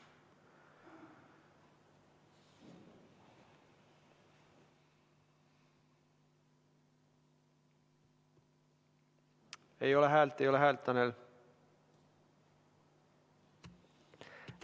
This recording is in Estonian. Ei ole häält, ei ole häält, Tanel!